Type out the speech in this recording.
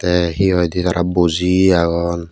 te he hoi di tara boji agong.